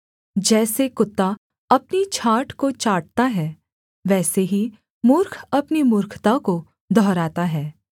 जैसे कुत्ता अपनी छाँट को चाटता है वैसे ही मूर्ख अपनी मूर्खता को दोहराता है